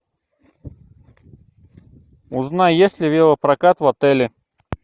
узнай есть ли велопрокат в отеле